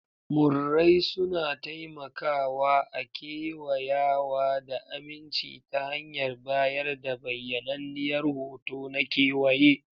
Murrai suna taimakawa a kewayawa da aminci ta hanyar bayar da bayyananniyar hoto na kewaye.